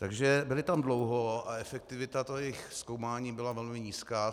Takže byli tam dlouho a efektivita jejich zkoumání byla velmi nízká.